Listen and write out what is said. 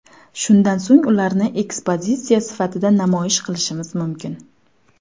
Shundan so‘ng ularni ekspozitsiya sifatida namoyish qilishimiz mumkin.